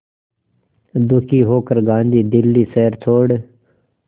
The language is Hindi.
दुखी होकर गांधी दिल्ली शहर छोड़